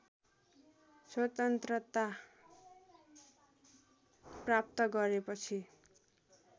स्वतन्त्रता प्राप्त गरेपछि